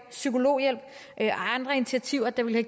psykologhjælp og andre initiativer der ville